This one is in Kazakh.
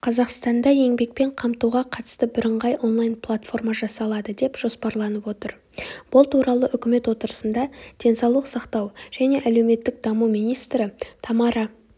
қазақстанда еңбекпен қамтуға қатысты біріңғай онлайн-платформа жасалады деп жоспарланып отыр бұл туралы үкімет отырысында денсаулық сақтау және әлеуметтік даму министрі тамара